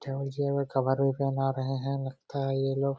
Table chair मे cover भी पहना रहे है लगता है ये लोग।